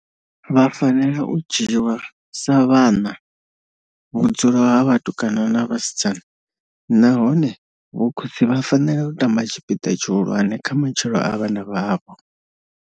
Vha fanela u dzhiwa sa vhana vhudzulo ha vhatukana na vhasidzana nahone vhokhotsi vha fanela u tamba tshipiḓa tshihulwane kha matshilo a vhana vhavho.